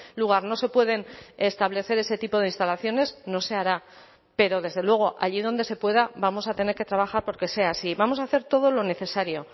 lugar no se pueden establecer ese tipo de instalaciones no se hará pero desde luego allí donde se pueda vamos a tener que trabajar por que sea así vamos a hacer todo lo necesario